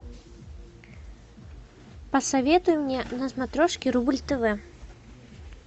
посоветуй мне на смотрешке рубль тв